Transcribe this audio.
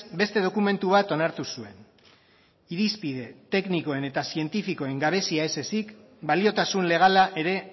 beste dokumentu bat onartu zuen irizpide teknikoen eta zientifikoen gabezia ez ezik baliotasun legala ere